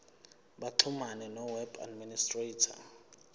baxhumane noweb administrator